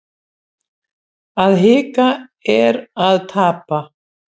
Að hika er að tapa